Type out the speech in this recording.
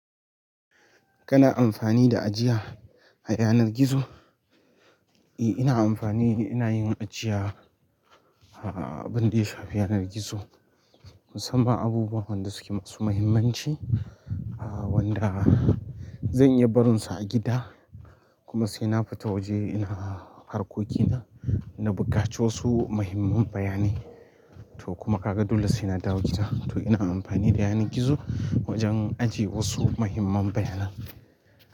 Kana amfani da ajiya a yanar gizo? E, ina amfani ina yin ajiya, a abin da ya shafi yanar gizo. Musamman abubuwa wanda suke masu mahimmanci, a wanda zan iya barinsu a gida kuma sai na fita waje ina harkokina na buƙaci wasu muhimman bayanai to kuma kaga dole sai na dawo gida. To ina amfani da yanan gizo wajen ajiye wasu mahimman bayanan.